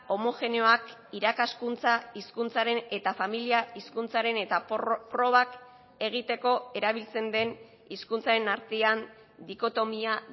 homogeneoak irakaskuntza hizkuntzaren eta familia hizkuntzaren eta probak egiteko erabiltzen den hizkuntzaren artean dikotomia